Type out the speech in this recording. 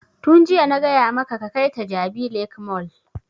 Tun jiya na gaya maka ka kai ta jabi lake mall!